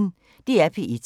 DR P1